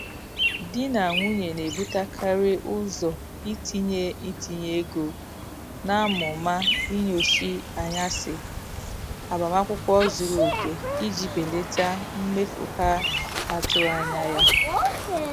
Di na nwunye na-ebutekarị ụzọ itinye itinye ego na amụma ịnshọansị agbamakwụkwọ zuru oke iji belata mmefu ha atụghị anya ya.